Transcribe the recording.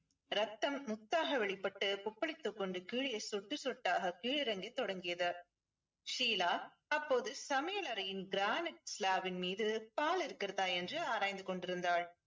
ரத்தம் முத்தாக வெளிப்பட்டு கொப்பளித்துக் கொண்டு கீழே சொட்டு சொட்டாக கீழிறங்க தொடங்கியது ஷீலா அப்போது சமையலறையின் granite slab ன் மீது பால் இருக்கிறதா என்று ஆராய்ந்து கொண்டிருந்தாள்